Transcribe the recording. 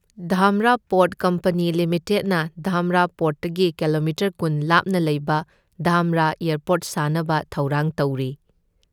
Dhamra port company ꯂꯤꯃꯤꯇꯦꯠꯅ ꯙꯥꯝꯔꯥ ꯄꯣꯔ꯭ꯠꯇꯒꯤ kilometre ꯀꯨꯟ ꯂꯥꯞꯅ ꯂꯩꯕ ꯙꯥꯝꯔꯥ ꯑꯦꯌꯔꯄꯣꯔ꯭ꯠ ꯁꯥꯅꯕ ꯊꯧꯔꯥꯡ ꯇꯧꯔꯤ꯫